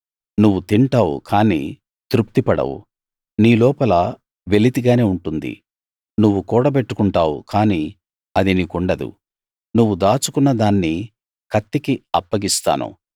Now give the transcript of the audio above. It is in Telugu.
నువ్వు తింటావు కానీ తృప్తి పడవు నీలోపల వెలితిగానే ఉంటుంది నువ్వు కూడబెట్టుకుంటావు కానీ అది నీకుండదు నువ్వు దాచుకున్నదాన్ని కత్తికి అప్పగిస్తాను